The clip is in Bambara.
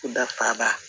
Dafa ba